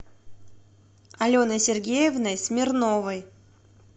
аленой сергеевной смирновой